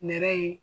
Nɛrɛ ye